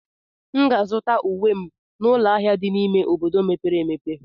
M ga-azụta uwe m n'ụlọ ahịa dị n'ime obodo mepere emepe.